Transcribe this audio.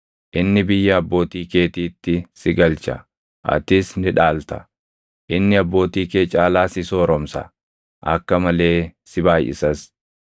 Inni biyya abbootii keetiitti si galcha; atis ni dhaalta. Inni abbootii kee caalaa si sooromsa; akka malee si baayʼisas.